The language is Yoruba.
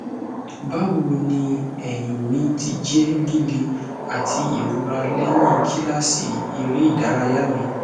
bawoni ẹhin mi ti jẹ lile ati irora lẹhin kilasi ereidaraya mi